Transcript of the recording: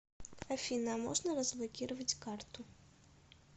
афина а можно разблокировать карту